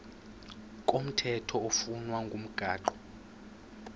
komthetho oflunwa ngumgago